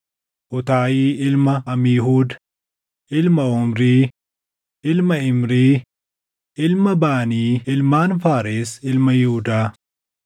Uutaayi ilma Amiihuud, ilma Omrii, ilma Imrii, ilma Baanii ilmaan Faares ilma Yihuudaa.